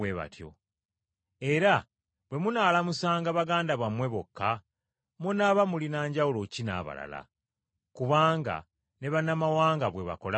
Era bwe munaalamusanga baganda bammwe bokka, munaaba mulina njawulo ki n’abalala? Kubanga ne bannamawanga bwe bakola bwe batyo.